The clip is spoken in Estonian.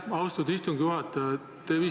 Aitäh, austatud istungi juhataja!